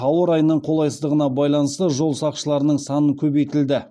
ауа райының қолайсыздығына байланысты жол сақшыларының саны көбейтілді